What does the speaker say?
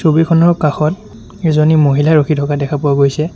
ছবিখনৰ কাষত এজনী মহিলা ৰখি থকা দেখা পোৱা গৈছে।